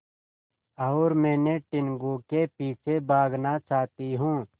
और मैं टीनगु के पीछे भागना चाहती हूँ